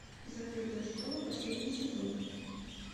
закрытая школа последний сезон